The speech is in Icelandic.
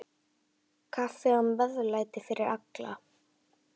Kaffi og meðlæti fyrir alla.